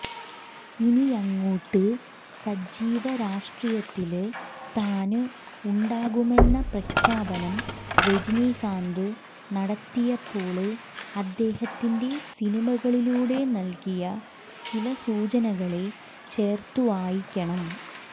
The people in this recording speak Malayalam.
ഇനിയങ്ങോട്ട് സജീവ രാഷ്ട്രീയത്തില് താന് ഉണ്ടാകുമെന്ന പ്രഖ്യാപനം രജനികാന്ത് നടത്തിയപ്പോള് അദ്ദേഹത്തിന്റെ സിനിമകളിലൂടെ നൽകിയ ചില സൂചനകളെ ചേർത്തുവായിക്കണം